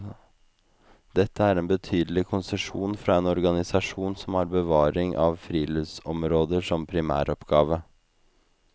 Dette er en betydelige konsesjon fra en organisasjon som har bevaring av friluftsområder som primæroppgave.